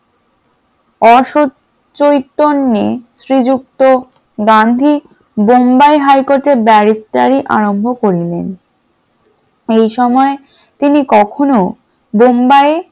অসৎ চৈতন্যে শ্রীযুক্ত গান্ধী বোম্বাই high court ব্যারিস্টারি আরম্ভ করিলেন । এই সময় তিনি কখনো বোম্বাই